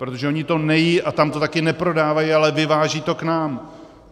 Protože oni to nejedí a tam to taky neprodávají, ale vyvážejí to k nám.